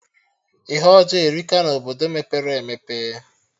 Ihe ọjọọ erika na Obodo mepere emepe